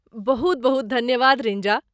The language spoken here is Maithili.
बहुत बहुत धन्यवाद रिंजा।